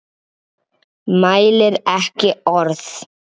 Mælir ekki orð.